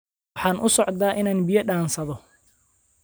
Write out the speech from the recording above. Waxaan u socdaa inaan biyo dhaansado.